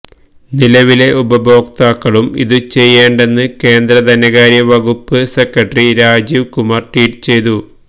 നിലവിലെ ഉപഭോക്താക്കളും ഇതു ചെയ്യേണ്ടെന്ന് കേന്ദ്ര ധനകാര്യ വകുപ്പ് സെക്രട്ടറി രാജീവ് കുമാര് ട്വീറ്റ് ചെയ്തു